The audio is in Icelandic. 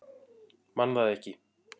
Man það ekki.